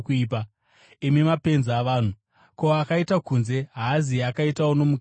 Imi mapenzi avanhu! Ko, akaita kunze haaziye akaitawo nomukati here?